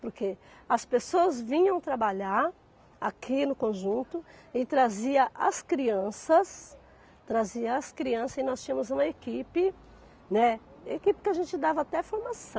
Porque as pessoas vinham trabalhar aqui no conjunto e trazia as crianças, trazia as crianças e nós tínhamos uma equipe, né, equipe que a gente dava até formação.